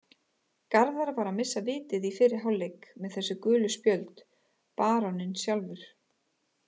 Garðar var að missa vitið í fyrri hálfleik með þessi gulu spjöld, baróninn sjálfur.